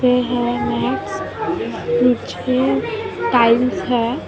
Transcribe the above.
ये है max peach के टाइल्स है येल्लो कलर --